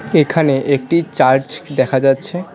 এখানে একটি চার্চ দেখা যাচ্ছে।